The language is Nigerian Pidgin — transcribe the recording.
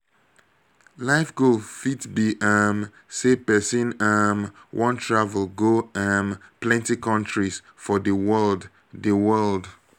life goal fit be um sey person um wan travel go um plenty countries for di world di world